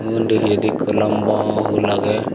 undi pijendi ikko lamba pool agey.